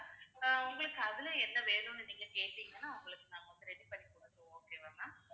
ஆஹ் உங்களுக்கு அதுல என்ன வேணும்னு நீங்க கேட்டீங்கன்னா உங்களுக்கு நாங்க ready பண்ணி குடுப்போம் okay வா ma'am